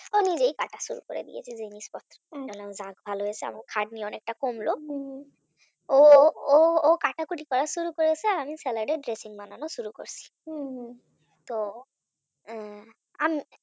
ও নিজেই কাটা শুরু করে দিয়েছে জিনিসপত্র যাক ভালো হয়েছে আমার খাটনি অনেকটা কমলো অনেকটা কমলো। ও ও আমার কাটাকুটি করা শুরু করেছে আমি salad এর ড্রেসিং বানানো শুরু করেছি হম হম তো উম আমি